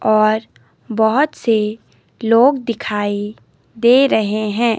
और बहोत से लोग दिखाई दे रहे हैं।